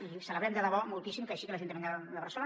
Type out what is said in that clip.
i celebrem de debò moltíssim que hi sigui l’ajuntament de barcelona